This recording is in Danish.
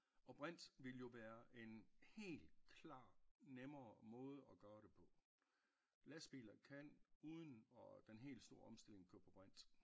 Og brint ville jo være en hel klar nemmere måde at gøre det på lastbiler kan uden og den helt store omstilling kører på brint